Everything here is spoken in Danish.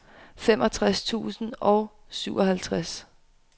femogtres tusind og syvoghalvtreds